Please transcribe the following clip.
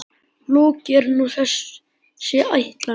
Lokið er nú þessi ætlan.